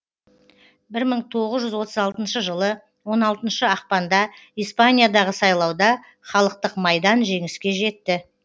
бір мың тоғыз жүз отыз алтыншы жылы он алтыншы ақпанда испаниядағы сайлауда халықтық майдан жеңіске жетті